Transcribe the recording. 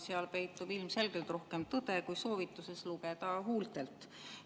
Seal peitub ilmselgelt rohkem tõde kui soovituses lugeda huultelt.